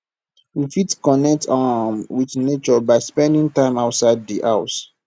we fit connect um with nature by spending time outside di house